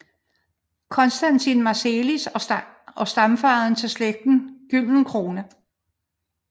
Constantin Marselis og stamfader til slægten Güldencrone